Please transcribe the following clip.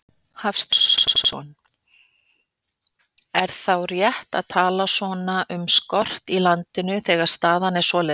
Hafsteinn Hauksson: Er þá rétt að tala um skort í landinu, þegar staðan er svoleiðis?